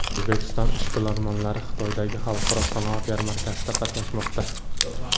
O‘zbekiston ishbilarmonlari Xitoydagi Xalqaro sanoat yarmarkasida qatnashmoqda.